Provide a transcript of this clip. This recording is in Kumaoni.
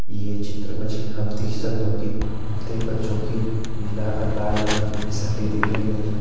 ये चित्र माजी हम देख ही सक्दों की हमते बच्चों की पीला और लाल रंगा की फिसलटी दिख्येण लगीं।